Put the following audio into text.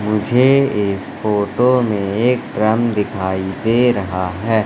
मुझे इस फोटो में एक ड्रम दिखाई दे रहा हैं।